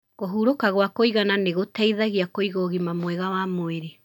Kũhurũka gwa kũigana nĩ gũteithagia kũiga ũgima mwega wa mwĩrĩ